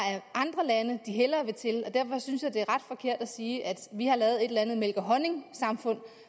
andre lande de hellere vil til og derfor synes jeg det er ret forkert at sige at vi har lavet et eller andet mælk og honning samfund